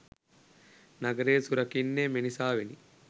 නගරය සුරකින්නේ මෙනිසාවෙනි.